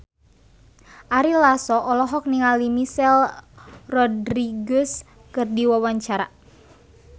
Ari Lasso olohok ningali Michelle Rodriguez keur diwawancara